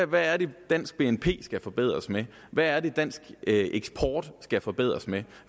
hvad er det dansk bnp skal forbedres med hvad er det dansk eksport skal forbedres med